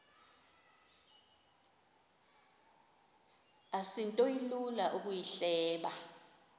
asinto ilula ukuyihleba